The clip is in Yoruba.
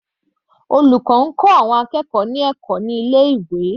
Olùkọ́ ń kọ́ ẹ̀kọ́ àwọn akẹ́kọ̀ọ́ ní ilé ìwé.